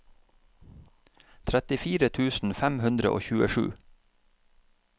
trettifire tusen fem hundre og tjuesju